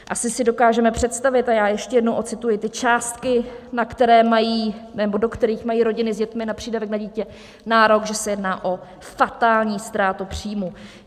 Asi si dokážeme představit - a já ještě jednou ocituji ty částky, do kterých mají rodiny s dětmi na přídavek na dítě nárok - že se jedná o fatální ztrátu příjmu.